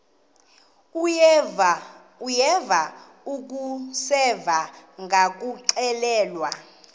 uyeva akuseva ngakuxelelwa